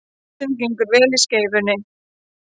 Hreinsun gengur vel í Skeifunni